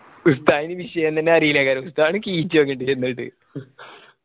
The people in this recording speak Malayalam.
ഉസ്താദിന് വിഷയം തന്നെ അറിയില്ല ഉസ്താദ്